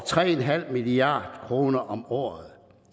tre milliard kroner om året